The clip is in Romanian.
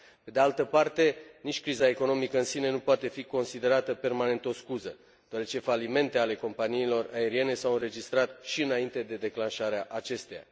Pe de altă parte, nici criza economică în sine nu poate fi considerată permanent o scuză, deoarece falimente ale companiilor aeriene s au înregistrat și înainte de declanșarea acesteia.